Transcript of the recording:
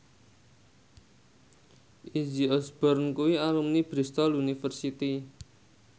Izzy Osborne kuwi alumni Bristol university